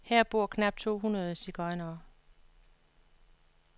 Her bor knap to hundrede sigøjnere.